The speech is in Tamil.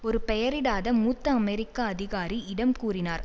ஒரு பெயரிடாத மூத்த அமெரிக்க அதிகாரி இடம் கூறினார்